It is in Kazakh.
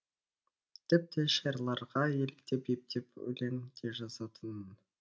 тіпті шайырларға еліктеп ептеп өлең де жазатынмын